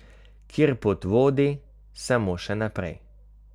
Kjer pot vodi samo še naprej.